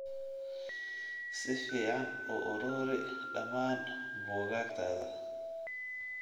Si fiican u ururi dhammaan buugaagtaada